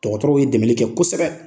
Dɔgɔtɔrɔw ye dɛmɛli kɛ kosɛbɛ.